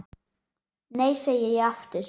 Nei, segi ég aftur.